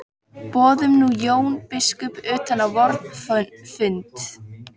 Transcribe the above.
Boðum nú Jón biskup utan á vorn fund.